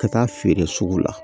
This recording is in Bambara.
Ka taa feere sugu la